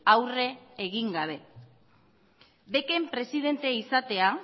aurre egin gabe bec en presidentea izatea